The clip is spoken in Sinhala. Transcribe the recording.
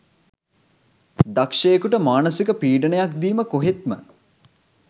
දක්ෂයෙකුට මානසික පීඩනයක් දීම කොහෙත්ම